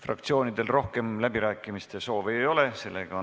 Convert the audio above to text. Fraktsioonidel rohkem läbirääkimiste soovi ei ole.